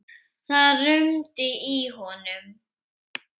Það rumdi í honum.